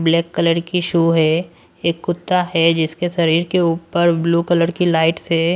Black colour की शो है एक कुत्ता है जिसके शरीर के ऊपर ब्लू कलर की लाइट्स है।